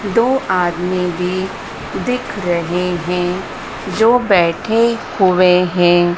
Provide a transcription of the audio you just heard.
दो आदमी भी दिख रहे हैं जो बैठे हुए हैं।